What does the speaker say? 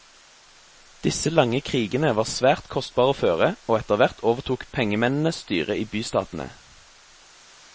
Disse lange krigene var svært kostbare å føre, og etterhvert overtok pengemennene styret i bystatene.